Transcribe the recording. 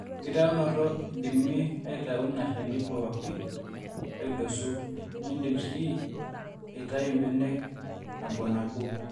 enkitaunoto: iindim aitau in shani pooki aidosu niindim sii aitau mbenek nabonabo